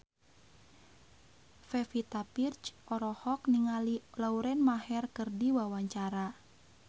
Pevita Pearce olohok ningali Lauren Maher keur diwawancara